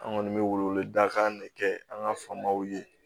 An kɔni bɛ wele wele dakan de kɛ an ka famaw ye